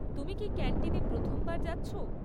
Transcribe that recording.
তুমি কি ক্যান্টিনে প্রথমবার যাচ্ছ?